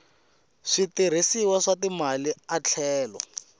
switirhisiwa swa timali a tlhela